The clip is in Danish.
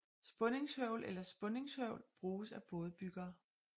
Spundingshøvl eller Spunningshøvl bruges af bådebyggere